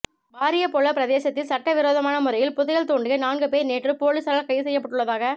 வாரியபொல பிரதேசத்தில் சட்டவிரோதமான முறையில் புதையல் தோண்டிய நான்கு பேர் நேற்று பொலிஸாரால் கைது செய்யப்பட்டுள்ளதாக